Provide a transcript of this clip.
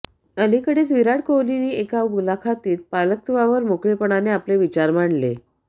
अलिकडेच विराट कोहलीने एका मुलाखतीत पालकत्वावर मोकळेपणाने आपले विचार मांडले